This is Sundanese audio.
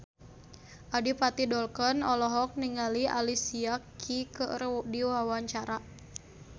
Adipati Dolken olohok ningali Alicia Keys keur diwawancara